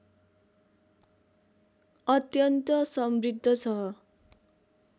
अत्यन्त समृद्ध छ